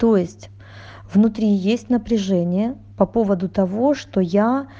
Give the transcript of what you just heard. то есть внутри есть напряжение по поводу того что я